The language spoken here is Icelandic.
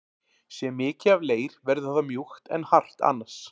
Sé mikið af leir verður það mjúkt en hart annars.